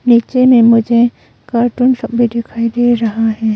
नीचे में मुझे कार्टून सब भी दिखाई दे रहा है।